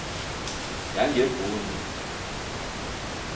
yangebhundu